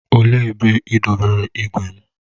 Olee ebe ị dobere igwe m?